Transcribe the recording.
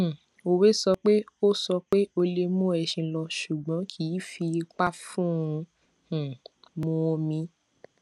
um òwe sọ pé o sọ pé o lè mú ẹṣin lọ ṣùgbọn kì í fi ipa fún un um mu omi